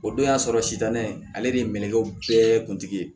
O don y'a sɔrɔ sitanɛ ale de ye mɛɛn bɛɛ kuntigi ye